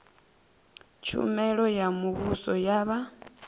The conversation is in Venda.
tshumelo ya muvhuso ya vha